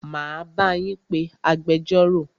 Máa bá yín pé agbẹjọ́rò.